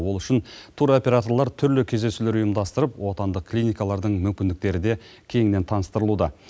ол үшін туроператорлар түрлі кездесулер ұйымдастырып отандық клиникалардың мүмкіндіктері де кеңінен таныстырылуда